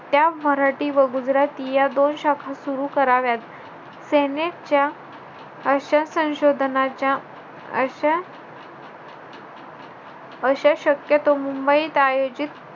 त्या मराठी व गुजराथी या दोन शाखा सुरु कराव्यात. Senate च्या अशा संशोधनाच्या अशा~ अशा शक्यतो मुंबईत आयोजित,